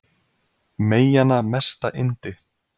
Meyjanna mesta yndi